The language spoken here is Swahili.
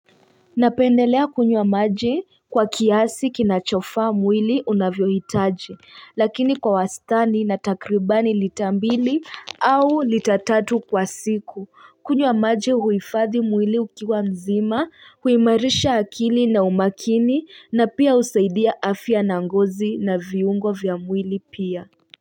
Napendelea kunywa maji kwa kiasi kinachofaa mwili unavyoitaji lakini kwa wastani na takribani lita mbili au lita tatu kwa siku kunywa maje huifadhi mwili ukiwa mzima huimarisha akili na umakini na pia husaidia afya na ngozi na viungo vya mwili pia.